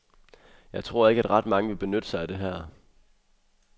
Jeg tror ikke, at ret mange vil benytte sig af det her.